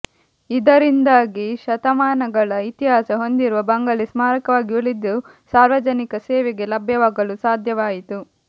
ಇದರಿಂದಾಗಿ ಶತಮಾನಗಳ ಇತಿಹಾಸ ಹೊಂದಿರುವ ಬಂಗಲೆ ಸ್ಮಾರಕವಾಗಿ ಉಳಿದು ಸಾರ್ವಜನಿಕ ಸೇವೆಗೆ ಲಭ್ಯವಾಗಲು ಸಾಧ್ಯವಾಯಿತು